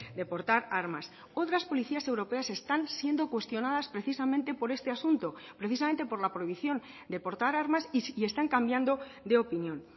de portar armas otras policías europeas están siendo cuestionadas precisamente por este asunto precisamente por la prohibición de portar armas y están cambiando de opinión